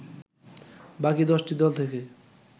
বাকি ১০টি দল থেকে